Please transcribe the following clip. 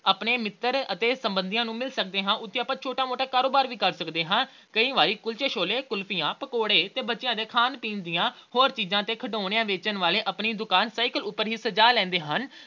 ਆਪਣੇ ਮਿੱਤਰ ਤੇ ਸਬੰਧੀਆਂ ਨੂੰ ਮਿਲ ਸਕਦੇ ਹਾਂ। ਉੱਥੇ ਆਪਾ ਛੋਟਾ-ਮੋਟਾ ਕਾਰੋਬਾਰ ਵੀ ਕਰ ਸਕਦੇ ਹਾਂ। ਕਈ ਵਾਰ ਕੁਲਚੇ-ਛੋਲੇ, ਕੁਲਫੀਆਂ, ਪਕੌੜੇ ਤੇ ਬੱਚਿਆਂ ਦੇ ਖਾਣ-ਪੀਣ ਦੀਆਂ ਹੋਰ ਚੀਜਾਂ ਤੇ ਖਿਡੌਣੇ ਵੇਚਣ ਵਾਲੇ ਆਪਣੀ ਦੁਕਾਨ cycle ਉਪਰ ਹੀ ਸਜਾ ਲੈਂਦੇ ਹਨ।